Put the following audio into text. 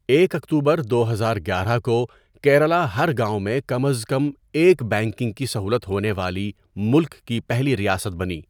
ایک اکتوبر دو ہزار گیارہ کو کیرالہ ہر گاؤں میں کم از کم ایک بینکنگ کی سہولت ہونے والی ملک کی پہلی ریاست بنی.